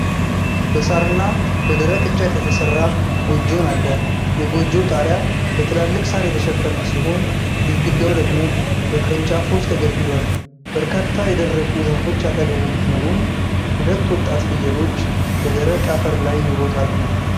በሳርና በደረቅ እንጨት የተሰራ ጎጆን አለ፡፡ የጎጆው ጣሪያ በትላልቅ ሣር የተሸፈነ ሲሆን፣ ግድግዳው ደግሞ በቅርንጫፎች ተገድግዷል፡፡ በርካታ የደረቁ ዛፎች አጠገቡ ቢኖሩም ሁለት ወጣት ፍየሎች በደረቅ አፈር ላይ ይሮጣሉ፡፡